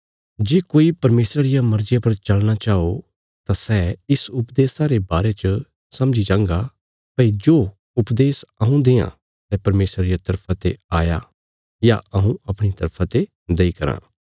जे कोई परमेशरा रिया मर्जिया पर चलना चाओ तां सै इस उपदेशा रे बारे च समझी जांगा भई जो उपदेश हऊँ देआं सै परमेशरा रिया तरफा ते आया या हऊँ अपणिया तरफा ते देई कराँ